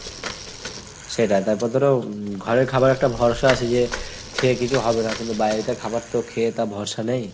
সেটাই। তারপর ধরো ঘরের খাবার একটা ভরসা আছে যে খে কিছু হবে না, কিন্তু বাইরেরকার খাবার তো খে তা ভরসা নেই।